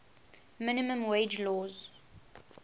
minimum wage laws